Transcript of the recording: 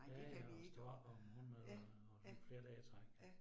Ja ja, og stå op og morgenmad og og flere dage i træk